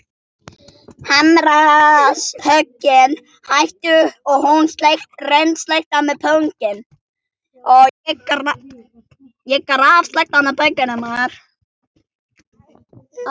Hamarshöggin hættu og hún kom þjótandi.